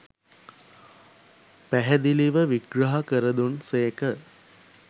පැහැදිලිව විග්‍රහ කර දුන් සේක